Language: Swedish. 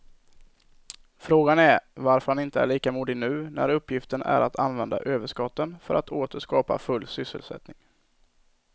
Frågan är varför han inte är lika modig nu när uppgiften är att använda överskotten för att åter skapa full sysselsättning.